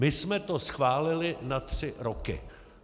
My jsme to schválili na tři roky.